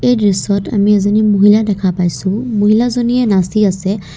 এই দৃশ্যত আমি এজনী মহিলা দেখা পাইছোঁ মহিলাজনীয়ে নাচি আছে।